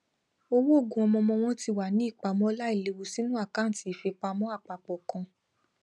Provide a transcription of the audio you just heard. owó ogún ọmọọmọ wọn ti wà ní ipamọ láìlèwu sínú àkàǹtì ìfipamọ apapọ kan